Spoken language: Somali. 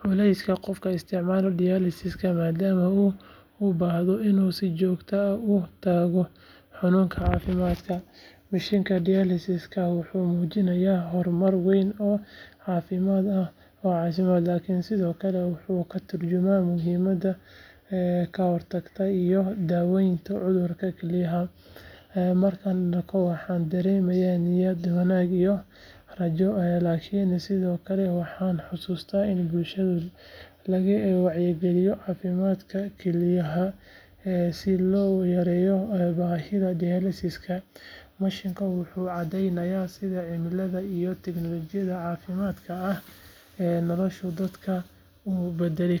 culayska qofka isticmaala dialysis-ka maadaama uu u baahdo inuu si joogto ah u tago xarunta caafimaadka. Mashiinka dialysis-ka wuxuu muujinayaa horumar weyn oo caafimaad laakiin sidoo kale wuxuu ka tarjumayaa muhiimadda kahortaga iyo daaweynta cudurrada kelyaha. Markaan arko, waxaan dareemaa niyad-wanaag iyo rajo, laakiin sidoo kale waxaan xasuustaa in bulshada laga wacyigeliyo caafimaadka kelyaha si loo yareeyo baahida dialysis-ka. Mashiinkan wuxuu cadeynayaa sida cilmiga iyo tiknoolajiyadda caafimaadka ay nolosha dadka u bedeli karto.